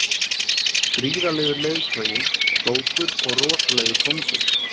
Gríðarlegur leiðtogi, klókur og rosalegur kóngur.